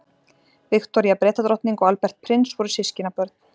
Viktoría Bretadrottning og Albert prins voru systkinabörn.